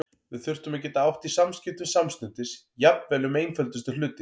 Við þurftum að geta átt í samskiptum samstundis, jafnvel um einföldustu hluti.